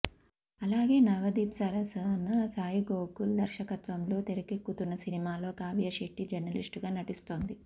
అలాగే నవదీప్ సరసన సాయిగోకు ల్ దర్శకత్వంలో తెరకెక్కుతున్న సినిమాలో కావ్య శెట్టి జర్నలిస్టుగా నటిస్తోంది